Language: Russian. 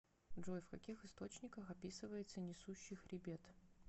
джой в каких источниках описывается несущий хребет